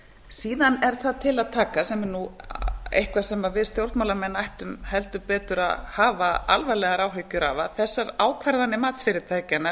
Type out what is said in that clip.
síðan er það til að taka sem er eitthvað sem við stjórnmálamenn ættum heldur betur að hafa alvarlegar áhyggjur af að þessar ákvarðanir matsfyrirtækjanna